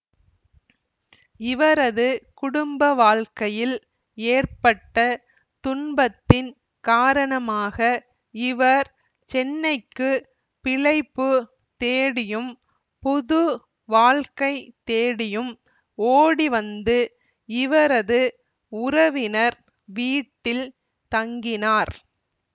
இவரது குடும்பவாழ்க்கையில் ஏற்பட்ட துன்பத்தின் காரணமாக இவர் சென்னைக்கு பிழைப்பு தேடியும் புது வாழ்க்கை தேடியும் ஓடிவந்து இவரது உறவினர் வீட்டில் தங்கினார்